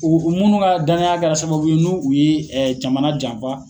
U munnu ka danya kɛra sababu ye nu u ye jamana janfa.